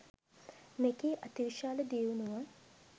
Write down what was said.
මෙකී අතිවිශාල දියුණුව